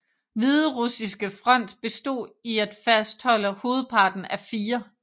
Hviderussiske front bestod i at fastholde hovedparten af 4